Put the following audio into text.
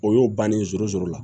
O y'o bannen sɔrɔ sɔrɔ la